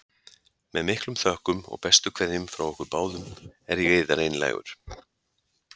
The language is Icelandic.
Með miklum þökkum og bestu kveðjum frá okkur báðum er ég yðar einlægur.